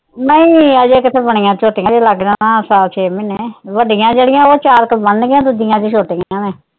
ਨਹੀਂ ਹਜੇ ਕਿੱਥੇ ਬਣੀਆਂ ਝੋਟੀਆਂ ਹਜੇ ਲੱਗ ਜਾਣਾ ਸਾਲ ਛੇ ਮਹੀਨੇ ਵੱਡੀਆਂ ਜਿਹੜੀਆਂ ਉਹ ਚਾਰ ਕੇ ਬਨਣ ਗਈਆਂ ਦੂਜੀਆਂ ਹਜੇ ਛੋਟੀਆਂ ਨੇ।